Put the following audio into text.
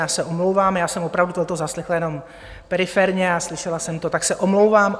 Já se omlouvám, já jsem opravdu toto zaslechla jenom periferně a slyšela jsem to, tak se omlouvám.